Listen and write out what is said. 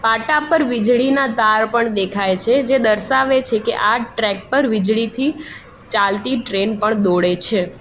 પાટા પર વીજળીના તાર પણ દેખાય છે જે દર્શાવે છે કે આ ટ્રેક પર વીજળીથી ચાલતી ટ્રેન પણ દોડે છે.